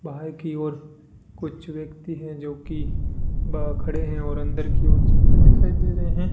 बाहर की ओर कुछ व्यक्ति है जो की बाहर खड़े है और अंदर की ओर जाते हुए दिखाई दे रहे हैं।